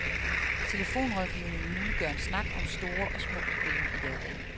Telefonrådgivningen muliggør en snak om store og små problemer i hverdagen.